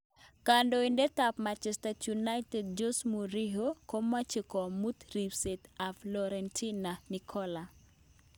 Kandoitet ap Manchester United Jose mourinho komache komut ripset ap fiorentina nikola